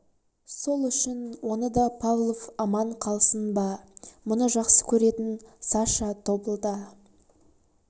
сол үшін оны да павлов аман қалсын ба мұны жақсы көретін саша тобылда